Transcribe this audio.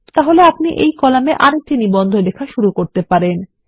তাহলে আপনি এই কলামে আরেকটি নিবন্ধ লেখা শুরু করতে পারেন